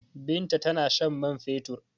Binta tana shan man fetur.